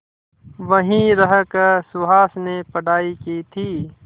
वहीं रहकर सुहास ने पढ़ाई की थी